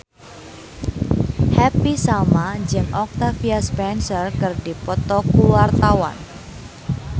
Happy Salma jeung Octavia Spencer keur dipoto ku wartawan